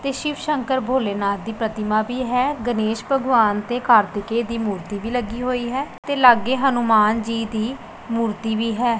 ਤੇ ਸ਼ਿਵ ਸ਼ੰਕਰ ਭੋਲੇਨਾਥ ਦੀ ਪ੍ਰਤਿਮਾ ਵੀ ਹੈ ਗਣੇਸ਼ ਭਗਵਾਨ ਤੇ ਕਾਰਤਿਕੇਯ ਦੀ ਮੂਰਤੀ ਵੀ ਲੱਗੀ ਹੋਈ ਹੈ ਤੇ ਲਾਗੇ ਹਨੂੰਮਾਨ ਜੀ ਦੀ ਮੂਰਤੀ ਵੀ ਹੈ।